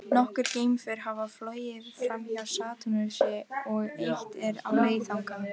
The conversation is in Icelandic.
Nokkur geimför hafa flogið framhjá Satúrnusi og eitt er á leið þangað.